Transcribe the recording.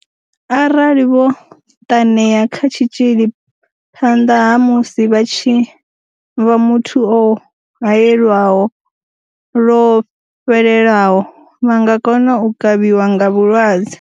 Arali vho ṱanea kha tshitzhili phanḓa ha musi vha tshi vha muthu o haelwaho lwo fhelelaho, vha nga kona u kavhiwa nga vhulwadze.